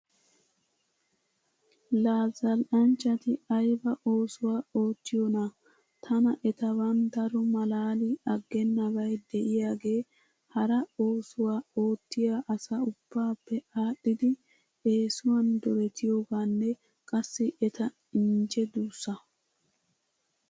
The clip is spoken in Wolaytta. La zal"nchchati ayba oosuwa oottiyoonaa? Tana etaban daro malaali aggeennabay diyaagee hara oosuwa oottiya asa ubbaappe aadhdhidi eesuwan duretiyoogaanne qassi eta injje duussaa.